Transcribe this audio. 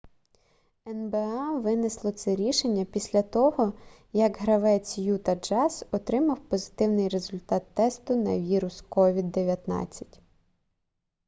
нба винесло це рішення після того як гравець юта джаз отримав позитивний результат тесту на вірус covid-19